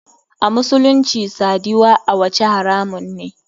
A musulunci sadiwa awace haramun ne.